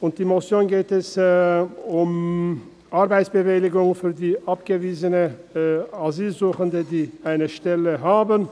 In der Motion geht es um Arbeitsbewilligungen für abgewiesene Asylsuchende, die eine Stelle haben.